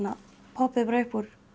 poppuðu bara upp úr